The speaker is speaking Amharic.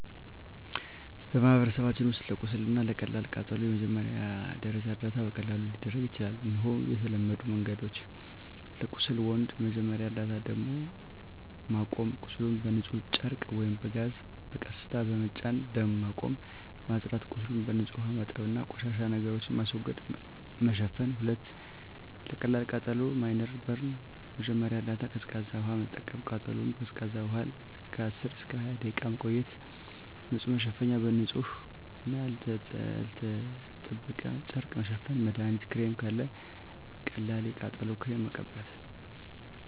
በማህበረሰባችን ውስጥ ለቁስል እና ለቀላል ቃጠሎ የመጀመሪያ ደረጃ እርዳታ በቀላሉ ሊደረግ ይችላል። እነሆ የተለመዱ መንገዶች፦ 1. ለቁስል (Wound) መጀመሪያ እርዳታ ደም ማቆም – ቁስሉን በንጹህ ጨርቅ ወይም ጋዝ በቀስታ በመጫን ደም ማቆም። ማጽዳት – ቁስሉን በንጹህ ውሃ ማጠብ እና ቆሻሻ ነገሮችን ማስወገድ። መሸፈን – 2. ለቀላል ቃጠሎ (Minor Burn) መጀመሪያ እርዳታ ቀዝቃዛ ውሃ መጠቀም – ቃጠሎውን በቀዝቃዛ ውሃ ለ10–20 ደቂቃ መቆየት። ንጹህ መሸፈኛ – በንጹህ እና ያልተጠበቀ ጨርቅ መሸፈን። መድሀኒት ክሬም – ካለ ቀላል የቃጠሎ ክሬም መቀበት።